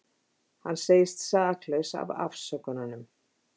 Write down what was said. Hann segist saklaus af ásökununum